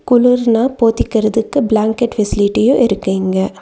குளூர்ன்னா போத்திகரதுக்கு பிளாங்கெட் ஃபெசிலிட்டியு இருக்கு இங்க.